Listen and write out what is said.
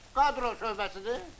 Kadro şöbəsidir?